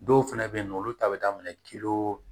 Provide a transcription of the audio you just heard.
Dɔw fɛnɛ be yen nɔ olu ta be daminɛ kiliyo